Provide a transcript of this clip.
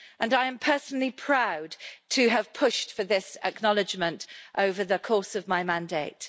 I am personally proud to have pushed for this acknowledgment over the course of my mandate.